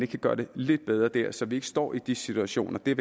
kan gøre det lidt bedre der så vi ikke står i de situationer det